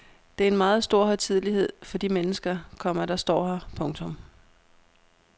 Det er en meget stor højtidelighed for de mennesker, komma der står her. punktum